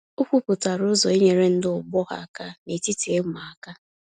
O kwuputara ụzọ inyere ndị ọgbọ ya aka na-etiti ịma aka